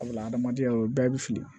Wala adamadenya o bɛɛ bɛ fili